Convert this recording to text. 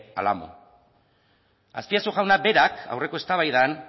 al amo azpiazu jauna berak aurreko eztabaidan